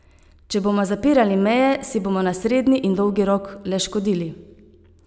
Če bomo zapirali meje, si bomo na srednji in dolgi rok le škodili.